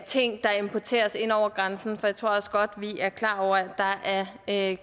ting der importeres ind over grænsen for jeg tror også godt vi er klar over at